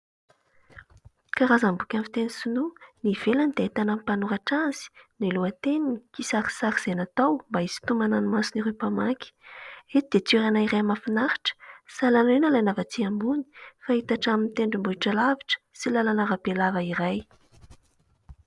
Karazam-boky amin'ny fiteny sinoa : ny ivelany dia ahitana ny mpanoratra azy, ny lohateniny, kisarisary izay natao mba isintonana ny mason'ireo mpamaky. Eto dia toerana iray mahafinaritra, sahala amin'ny hoe nalaina avy aty ambony, fa hita hatramin'ny tendrombohitra alavitra sy lalana arabe lava iray.